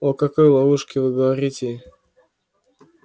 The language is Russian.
о какой ловушке вы говорите